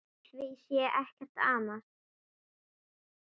Við því sé ekkert amast.